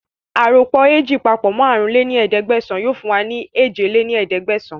Aròpọ̀ ééjì papọ̀ mọ àrún lé ní ẹ̀ẹ́dẹ́gbẹ́sán yìí fún wa ní èje lé ní ẹ̀ẹ́dẹ́gbẹ́sán